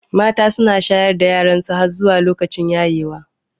Mata su na shayar da yaransu har zuwa lokacin yayewa.